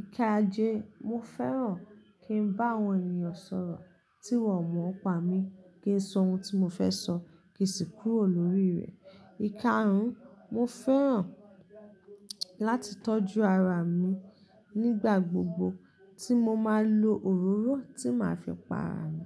Íkaaje, mo fẹ́ràn kí n bá àwọn ènìyàn sọ̀rọ̀ tí wọn ò mọ ọ̀ pá mi, kí n sọ ohun tí mo fẹ́ sọ kí sì kúrò lórí rẹ̀. Íkarùn, mo fẹ́ràn láti tọ́jú ara mi nígbà gbogbo tí mo máa ń lo òróró tí màá fi pa ara mi.